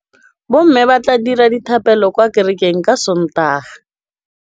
Bommê ba tla dira dithapêlô kwa kerekeng ka Sontaga.